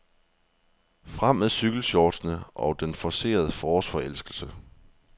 Frem med cykelshortsene og den forcerede forårsforelskelse.